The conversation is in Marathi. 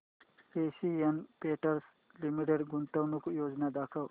एशियन पेंट्स लिमिटेड गुंतवणूक योजना दाखव